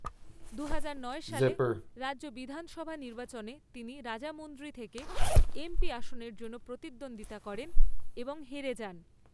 দুহাজার নয় সালে রাজ্য বিধানসভা নির্বাচনে তিনি রাজামুন্দ্রি থেকে এমপি আসনের জন্য প্রতিদ্বন্দ্বিতা করেন এবং হেরে যান।